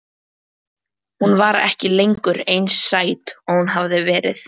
Hún var ekki lengur eins sæt og hún hafði verið.